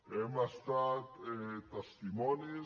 hem estat testimonis